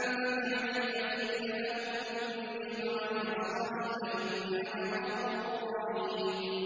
فَمَن تَبِعَنِي فَإِنَّهُ مِنِّي ۖ وَمَنْ عَصَانِي فَإِنَّكَ غَفُورٌ رَّحِيمٌ